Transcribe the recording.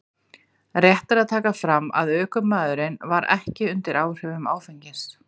Rétt er að taka fram að ökumaðurinn var ekki undir áhrifum áfengis.